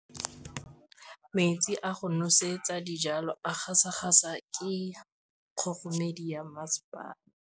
Metsi a go nosetsa dijalo a gasa gasa ke kgogomedi ya masepala.